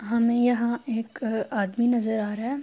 ہمیں یہاں ایک آدمی نظر آ رہا ہے۔